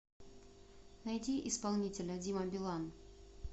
найди исполнителя дима билан